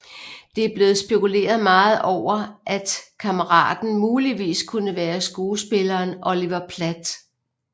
Det er blevet spekuleret meget over at kammeraten muligvis kunne være skuespilleren Oliver Platt